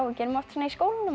en gerum oft svona í skólanum